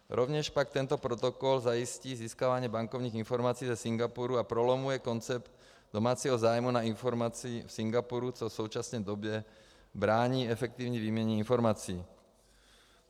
Rovněž pak tento protokol zajistí získávání bankovních informací ze Singapuru a prolamuje koncept domácího zájmu na informaci v Singapuru, což v současné době brání efektivní výměně informací.